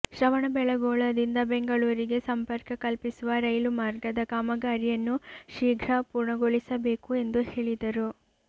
ಶ್ರವಣಬೆಳಗೊಳದಿಂದ ಬೆಂಗಳೂರಿಗೆ ಸಂಪರ್ಕ ಕಲ್ಪಿಸುವ ರೈಲು ಮಾರ್ಗದ ಕಾಮಗಾರಿಯನ್ನು ಶೀಘ್ರ ಪೂರ್ಣಗೊಳಿಸಬೇಕು ಎಂದು ಹೇಳಿದರು